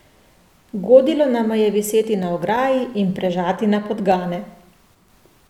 Godilo nama je viseti na ograji in prežati na podgane.